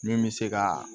Min bɛ se ka